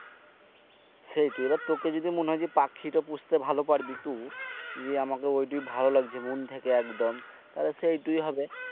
সেইটই এবার তুকে যদি মনে হয় যে পাখিটি পুষতে ভালো পাড়বি তো যে আমাকে ঐটো ভালো লাগে প্রথম থেকে একদম তাইলে সেইটাই হবে।